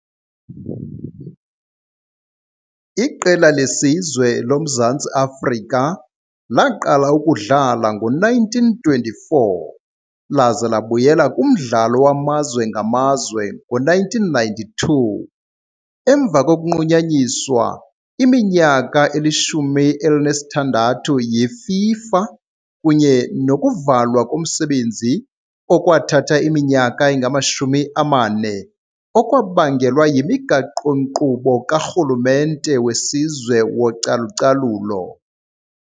Iqela lesizwe loMzantsi Afrika laqala ukudlala ngo-1924 laze labuyela kumdlalo wamazwe ngamazwe ngo-1992, emva kokunqunyanyiswa iminyaka elishumi elinesithandathu yiFIFA kunye nokuvalwa komsebenzi okwathatha iminyaka engama-40 okwabangelwa yimigaqo-nkqubo karhulumente wesizwe wocalucalulo .